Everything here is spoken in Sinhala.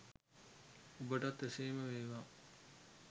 ඔබටත් එසේම වේවා